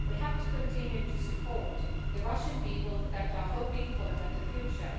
We have to continue to support the Russian people who are hoping for a better future.